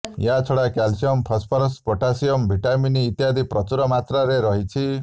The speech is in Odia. ଏହାଛଡା କ୍ୟାଲସିୟମ ଫସଫରସ ପୋଟାସିଅମ ଭିଟାମିନ ଇତ୍ୟାଦି ପ୍ରଚୁର ମାତ୍ରାରେ ରହିଛି